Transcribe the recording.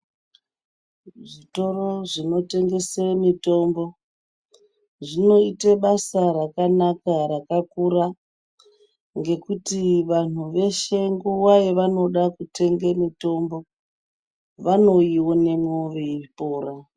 Zvikoro zvinotengese mitombo ,zvinoite basa rakanaka rakakura ,ngekuti vanhu veshe nguva yavanoda kutenge mitombo, vanoiwonemwo veipora.